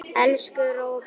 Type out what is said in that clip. Elsku Róbert.